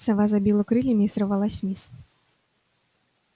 сова забила крыльями и сорвалась вниз